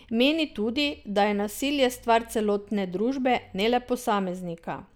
Meni tudi, da je nasilje stvar celotne družbe, ne le posameznika.